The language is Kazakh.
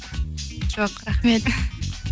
жоқ рахмет